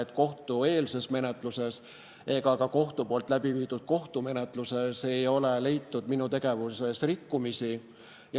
Ei kohtueelses menetluses ega ka kohtumenetluses ei ole leitud minu tegevuses rikkumisi.